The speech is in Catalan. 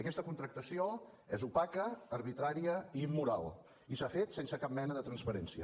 aquesta contractació és opaca arbitrària i immoral i s’ha fet sense cap mena de transparència